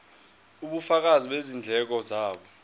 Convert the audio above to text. ubufakazi bezindleko zabo